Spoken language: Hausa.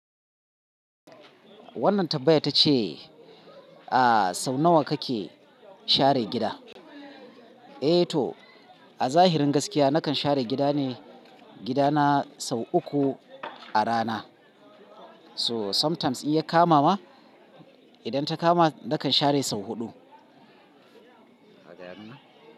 Wannan tambayar ita ce, sau nawa ka ke share gida? Eh to, a zahirin gaskiya na kan share gida ne, gidana sau uku a rana. So sometimes in ya kama ma, idan ta kama na kan share sau huɗu.